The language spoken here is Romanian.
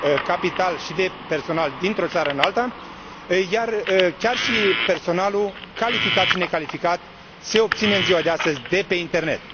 capitaluri și de personal dintr o țară în altă și că personalul calificat și necalificat se obține în ziua de astăzi de pe internet.